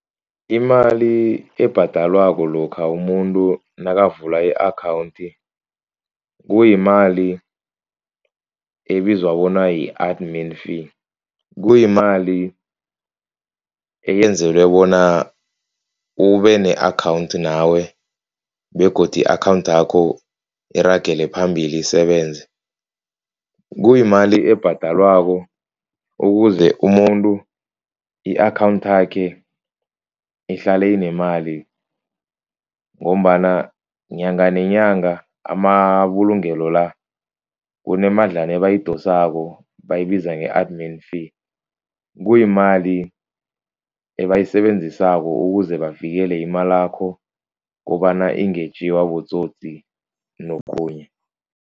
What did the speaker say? Imali ebhadalwako lokha umuntu nakavula i-account. Kuyimali ebizwa bona yi-admin fee. Kuyimali eyenzelwe bona ube ne-account nawe begodu i-account yakho iragele phambili isebenze. Kuyimali ebhadalwako ukuze umuntu i-account yakhe ihlale inemali. Ngombana nyanga nenyanga amabulungelo la kunemadlana ebayidosako abayibiza nge-admin fee. Kuyimali ebayisebenzisako ukuze bavikele imalakho kobana ingetjiwa botsotsi nokhunye.